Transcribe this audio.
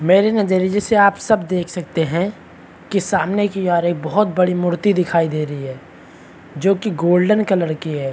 मेरे नजरिये से आप सब देख सकते है की सामने की ओर एक बहोत बड़ी मूर्ति दिखाई दे रही हैं जो की गोल्डन कलर की है ।